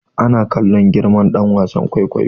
Ana kallon girma ɗan wasan kwaikwayo